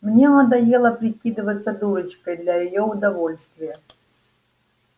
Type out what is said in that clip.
мне надоело прикидываться дурочкой для её удовольствия